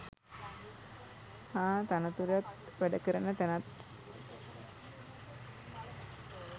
හා තනතුරත් වැඩ කරන තැනත්